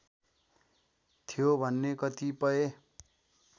थियो भन्ने कतिपय